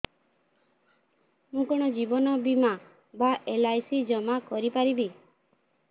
ମୁ କଣ ଜୀବନ ବୀମା ବା ଏଲ୍.ଆଇ.ସି ଜମା କରି ପାରିବି